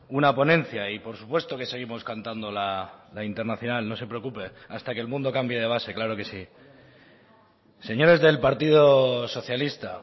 una ponencia y por supuesto que seguimos cantando la internacional no se preocupe hasta que el mundo cambie de base claro que sí señores del partido socialista